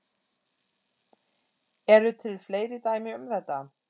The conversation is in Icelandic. Eru til fleiri dæmi um þetta?